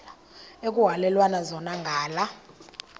ekuhhalelwana zona ngala